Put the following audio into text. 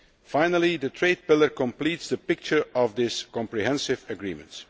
Finally, the trade pillar completes the picture of this comprehensive agreement.